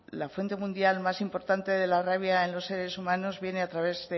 la fuente mundial más importante de la rabia en los seres humanos viene a través